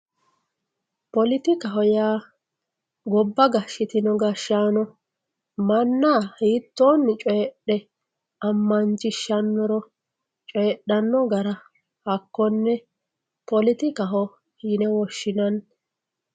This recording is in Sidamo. politikaho yaa gobba gashshitino gashshaano manna hiittoonni coydh ammanchishshanno gara hakkonne politikaho yine woshshinanni.